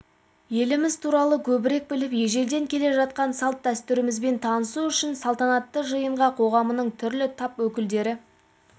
еліміз туралы көбірек біліп ежелден келе жатқан салт-дәстүрлерімізбен танысу үшін салтанатты жиынға қоғамының түрлі тап өкілдері